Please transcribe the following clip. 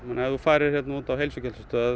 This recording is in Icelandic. ef þú færir á heilsugæslustöð